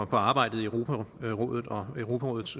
på arbejdet i europarådet og europarådets